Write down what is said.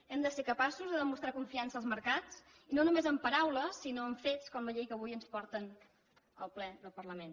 hem de ser capaços de demostrar confiança als mercats i no només amb paraules sinó amb fets com la llei que avui ens porten al ple del parlament